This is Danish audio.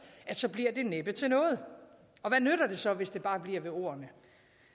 at så bliver det næppe til noget og hvad nytter det så hvis det bare bliver ved ordene